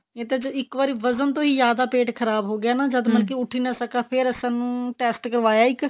ਇਹ ਤਾਂ ਇੱਕ ਵਾਰੀ ਵਧਣ ਤੋਂ ਹੀ ਜਿਆਦਾ ਪੇਟ ਖਰਾਬ ਹੋ ਗਿਆ ਜਦ ਮਤਲਬ ਕਿ ਉੱਠ ਹੀ ਨਾ ਸਕਾ ਫੇਰ ਸਾਨੂੰ test ਕਰਵਾਇਆ ਇੱਕ